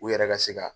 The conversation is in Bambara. U yɛrɛ ka se ka